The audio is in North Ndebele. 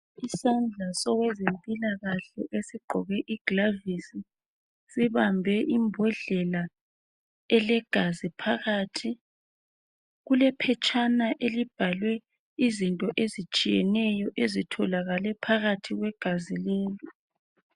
Isandla sowezempilakahle esigqoke igilovisi sibambe imbodlela elegazi phakathi kule phetshana elibhalwe izinto ezitshiyeneyo ezitholakale phakathi kwegazi lelo.